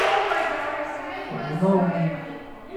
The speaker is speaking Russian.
янаул